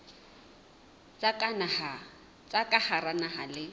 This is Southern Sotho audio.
tsa ka hara naha le